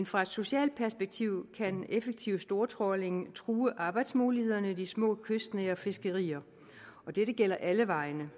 fra et socialt perspektiv kan effektiv stortrawling true arbejdsmulighederne i de små kystnære fiskerier og dette gælder alle vegne